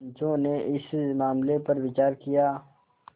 पंचो ने इस मामले पर विचार किया